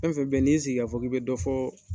Fɛn fɛn b'ye n'i sigi kafɔ ki bɛ dɔ fɔ